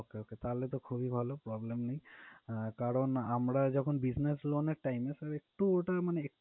Okay, okay, তাহলে তো খুবই ভালো, problem নেই। আহ কারণ আমরা যখন business loan এর time এ sir একটু ওটার মানে এক